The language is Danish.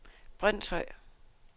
Brønshøj